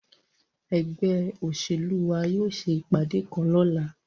Egbe oselu wa yóò se ipade kan lọla